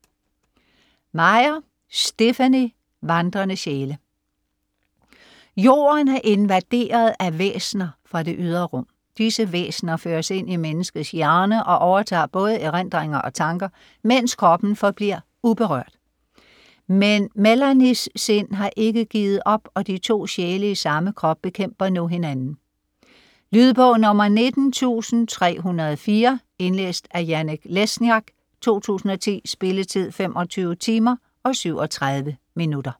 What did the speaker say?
Meyer, Stephenie: Vandrende sjæle Jorden er invaderet af væsener fra det ydre rum. Disse væsener føres ind i menneskets hjerne og overtager både erindringer og tanker, mens kroppen forbliver uberørt. Men Melanies sind har ikke givet op, og de to sjæle i samme krop bekæmper nu hinanden. Lydbog 19304 Indlæst af Jannik Lesniak, 2010. Spilletid: 25 timer, 37 minutter.